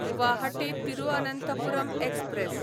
Guwahati Thiruvananthapuram express